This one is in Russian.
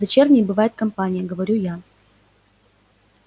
дочерней бывает компания говорю я